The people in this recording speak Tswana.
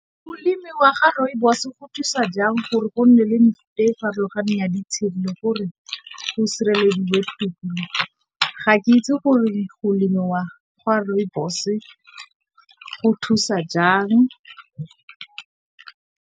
Go lemiwa ga Rooibos go thusa jang gore go nne le mefuta e farologaneng ya ditshedi gore go sirelediwe tikologo? Ga ke itse gore go lemiwa ga Rooibos go thusa jang.